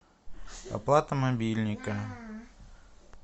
оплата мобильника